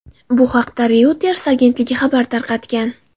Bu haqda Reuters agentligi xabar tarqatgan .